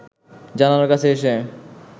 জানালার কাছে এসে